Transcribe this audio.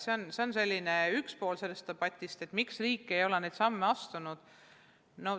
See on üks põhjus, miks riik ei ole neid samme astunud.